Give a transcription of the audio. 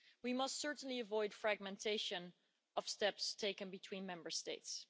We must certainly avoid fragmentation of steps taken between Member States.